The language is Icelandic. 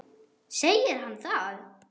Segir hann það?